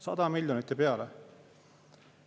100 miljonit ja peale!